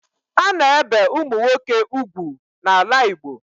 A na-ebe ụmụ nwoke ugwu n'ala Igbo